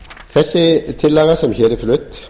þessi tillaga sem hér er flutt